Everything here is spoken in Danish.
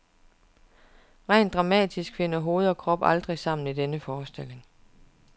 Rent dramatisk finder hoved og krop aldrig sammen i denne forestilling.